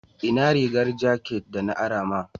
Inna rigar jakat de na ara ma?